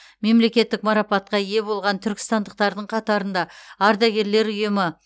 мемлекеттік марапатқа ие болған түркістандықтардың қатарында ардагерлер ұйымы